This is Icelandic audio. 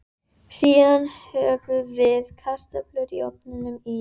Síðan höfum við kartöflurnar í ofninum í